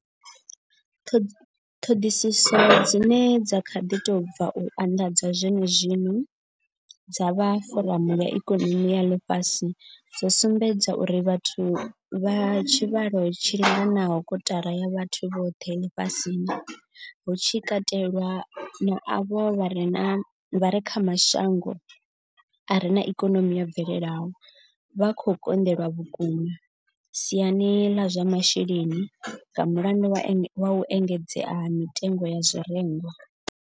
Ṱhoḓisiso dzine dza kha ḓi tou bva u anḓadzwa zwenezwino dza vha foramu ya ikonomi ya ḽifhasi dzo sumbedza uri vhathu vha tshivhalo tshi linganaho kotara ya vhathu vhoṱhe ḽifhasini, hu tshi katelwa na avho vha re kha mashango a re na ikonomi yo bvelelaho, vha khou konḓelwa vhukuma siani ḽa zwa masheleni nga mulandu wa u engedzea ha mitengo ya zwirengwa.